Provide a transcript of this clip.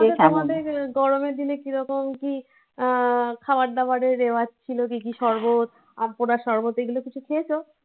তোমাদের গরমের দিনে কিরকম কি আহ খাবার দাবারের রেওয়াজ ছিল? কি কি শরবত, আম পোড়া, সরবত এগুলো কিছু খেয়েছ?